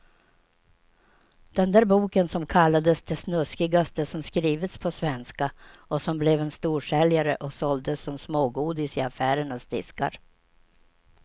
Den där boken som kallades det snuskigaste som skrivits på svenska och som blev en storsäljare och såldes som smågodis i affärernas diskar.